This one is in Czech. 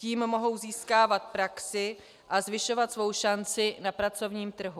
Tím mohou získávat praxi a zvyšovat svou šanci na pracovním trhu.